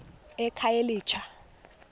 ekhayelitsha